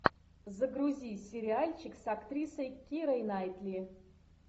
загрузи сериальчик с актрисой кирой найтли